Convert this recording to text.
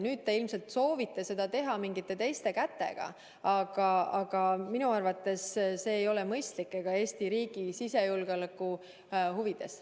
Nüüd te ilmselt soovite seda teha mingite teiste kätega, aga minu arvates see ei ole mõistlik ega Eesti riigi sisejulgeoleku huvides.